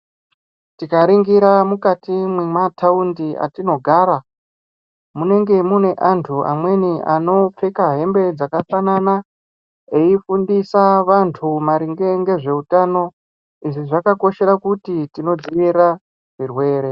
Tikaningira mukati memataundi atinogara munenge mune antu amweni anopfeka hembe dzakafanana eifundisa antu maringe nezvehutano izvi zvakakoshera kuti tonodzivirira zvirwere.